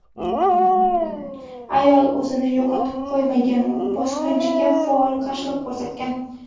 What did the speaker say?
Ayol o‘zini yo‘qotib qo‘ymagan, bosqinchiga faol qarshilik ko‘rsatgan.